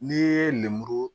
N'i ye nɛmɛ